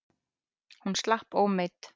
Hún slapp ómeidd.